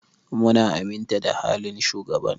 Mun aminta da halin shugaban.